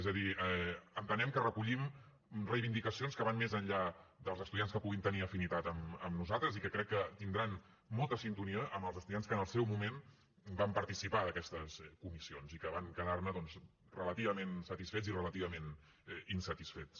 és a dir entenem que recollim reivindicacions que van més enllà dels estudiants que puguin tenir afinitat amb nosaltres i que crec que tindran molta sintonia amb els estudiants que en el seu moment van participar d’aquestes comissions i que van quedar ne doncs relativament satisfets i relativament insatisfets